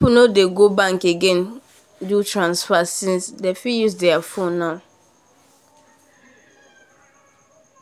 people nor dey go bank again go do transfer since um them um fit use there phone now